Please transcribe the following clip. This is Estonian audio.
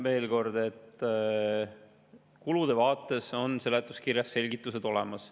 Veel kord, kulude vaates on seletuskirjas selgitused olemas.